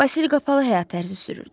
Basil qapalı həyat tərzi sürürdü.